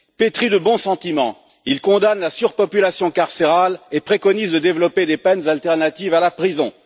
Pétri de bons sentiments, il condamne la surpopulation carcérale et préconise de développer des peines alternatives à la prison.